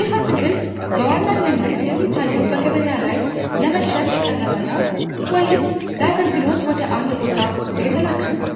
ይህ አትክልት በዋነኝነት የሚታየው በገበያ ላይ ለመሸጥ የቀረበ ነው ወይስ ለአገልግሎት ወደ አንድ ቦታ እየተላከ ነው?